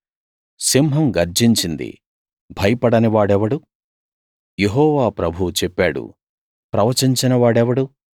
సింహం గర్జించింది భయపడని వాడెవడు యెహోవా ప్రభువు చెప్పాడు ప్రవచించని వాడెవడు